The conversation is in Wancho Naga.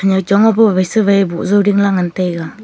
nyau chong abo wai sewei boh jaw dingla ngan taiga.